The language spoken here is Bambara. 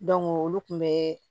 olu kun bɛ